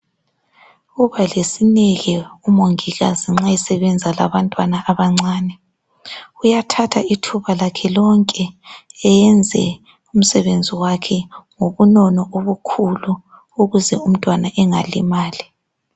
Uba lesineke umongikazi nxa esebenza labantwana abancane uyathatha ithuba lakhe lonke eyenze umsebenzi wakhe ngobunono obukhulu ukuze umntwana engalimali.